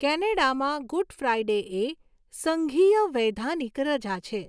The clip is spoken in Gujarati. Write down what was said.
કેનેડામાં, ગુડ ફ્રાઈડે એ સંઘીય વૈધાનિક રજા છે.